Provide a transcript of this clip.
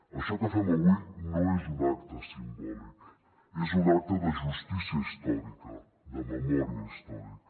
això que fem avui no és un acte simbòlic és un acte de justícia històrica de memòria històrica